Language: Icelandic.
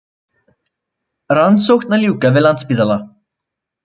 Rannsókn að ljúka við Landspítala